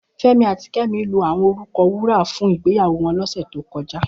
Femi àtí Kemi lò áwòn órúkà wúrà fún igbéyàwó wòn lòsè tókòjá